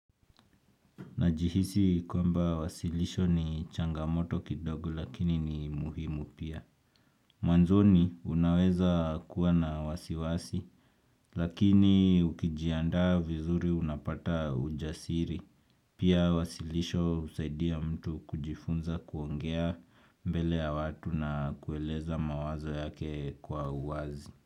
Najihisi kwamba wasilisho ni changamoto kidogo lakini ni muhimu pia. Mwanzoni unaweza kuwa na wasiwasi lakini ukijiandaa vizuri unapata ujasiri. Pia wasilisho husaidia mtu kujifunza kuongea mbele ya watu na kueleza mawazo yake kwa uwazi.